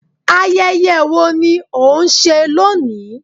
Ayẹyẹ wo ni ó ń ṣe lónìí